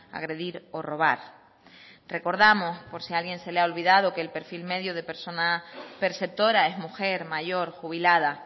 agredir o robar recordamos por si alguien se le ha olvidado que el perfil medio de persona perceptora es mujer mayor jubilada